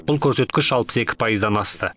бұл көрсеткіш алпыс екі пайыздан асты